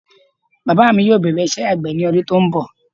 Bàbá mi yóò bẹ̀rẹ̀ iṣẹ́ àgbẹ̀ ní ọdún tí ó ń bọ̀